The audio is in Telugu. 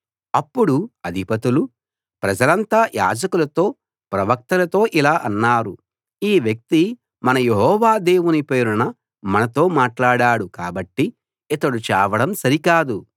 అప్పుడు అధిపతులు ప్రజలంతా యాజకులతో ప్రవక్తలతో ఇలా అన్నారు ఈ వ్యక్తి మన యెహోవా దేవుని పేరున మనతో మాట్లాడాడు కాబట్టి ఇతడు చావడం సరి కాదు